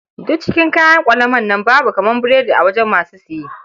Duk cikin kayan ƙwalaman nan babu kamar burodi a wajen masu saye.